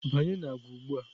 Banye na agwa ugbu a!